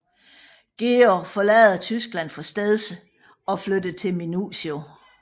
George forlader Tyskland for stedse og flytter til Minusio